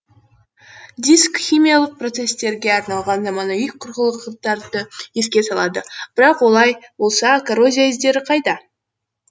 диск химиялық процесстерге арналған заманауи құрылғылықтарды еске салады бірақ олай болса коррозия іздері қайда